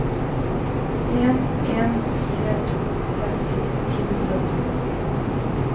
en en fire to tretti ni hundre og to